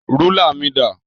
Rúlà mi dà?